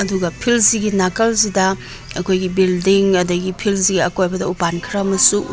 ꯑꯗꯨꯒ ꯐꯤꯜ ꯁꯤꯒꯤ ꯅꯀꯜꯁꯤꯗ ꯑꯈꯣꯢꯒꯤ ꯕꯤꯗꯤꯡ ꯑꯗꯒꯤ ꯐꯤꯜ ꯁꯤꯒꯤ ꯑꯀꯣꯢꯕꯗ ꯎꯄꯟ ꯈꯔ ꯑꯝꯁꯨ ꯎꯩ꯫